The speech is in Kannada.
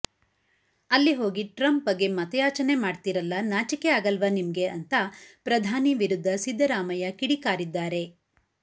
ಅಲ್ಲಿ ಹೋಗಿ ಟ್ರಂಪ್ ಬಗ್ಗೆ ಮತಯಾಚನೆ ಮಾಡ್ತಿರಲ್ಲ ನಾಚಿಕೆ ಆಗಲ್ವಾ ನಿಮ್ಗೆ ಅಂತಾ ಪ್ರಧಾನಿ ವಿರುದ್ಧ ಸಿದ್ದರಾಮಯ್ಯ ಕಿಡಿಕಾರಿದ್ದಾರೆ